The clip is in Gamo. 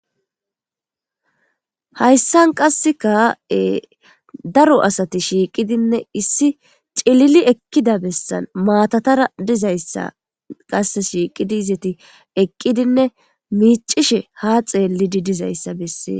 Hayssan qasika ee daroasati shiqidinne issi cillile ekida bessan matatanra dizayssa ts shiqidi izeti eqqidinne miishshe ha xeliidi dizayssa besses